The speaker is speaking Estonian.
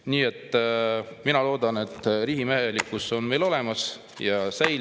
Nii et mina loodan, et riigimehelikkus on meil olemas ja see säilib.